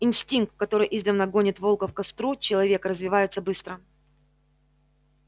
инстинкт который издавна гонит волков к костру человека развивается быстро